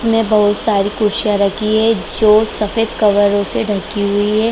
में बहुत सारी कुर्सियाँ रखी हैं जो सफेद कलर से डकी हुई हैं।